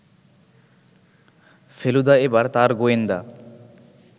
ফেলুদা এবার তার গোয়েন্দা